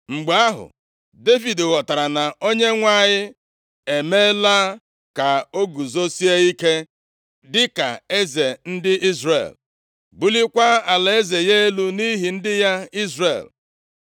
Mgbe ahụ, Devid ghọtara na Onyenwe anyị emeela ka o guzosie ike dịka eze ndị Izrel. Bulikwa alaeze ya elu nʼihi ndị ya Izrel.